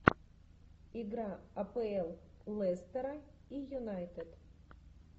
игра апл лестера и юнайтед